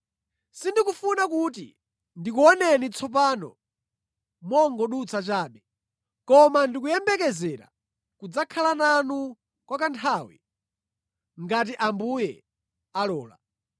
Sindikufuna kuti ndikuoneni tsopano mongodutsa chabe, koma ndikuyembekezera kudzakhala nanu kwa kanthawi, ngati Ambuye alola.